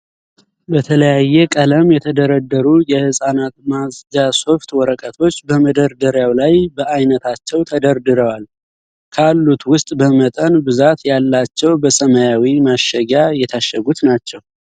በተለያየ ቀለም የተደረደሩ የህጻናት ማጽጃ ሶፍት ወረቀቶች በመደርደሪያው ላይ በአይነታቸው ተደርድረዋል። ካሉት ዉስጥ በመጠን ብዛት ያላቸው በሰማያዊ ማሸጊያ የታሸጉት ናቸው።